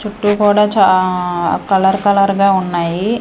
చుట్టూ కూడా చా కలర్ కలర్ గా ఉన్నాయి.